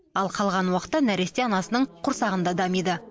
ал қалған уақытта нәресте анасының құрсағында дамиды